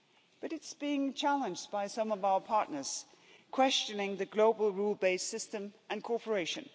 But it's being challenged by some of our partners questioning the global rule based system and cooperation.